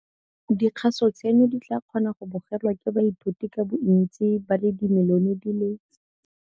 Dikgaso tseno di tla kgona go bogelwa ke baithuti ka bontsi ba le dimilione di le